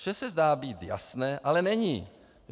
Vše se zdá být jasné, ale není.